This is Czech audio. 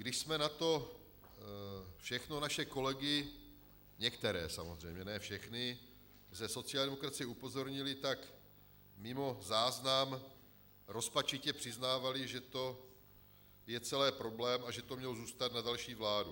Když jsme na to všechno naše kolegy - některé, samozřejmě, ne všechny - ze sociální demokracie upozornili, tak mimo záznam rozpačitě přiznávali, že to je celé problém a že to mělo zůstat na další vládu.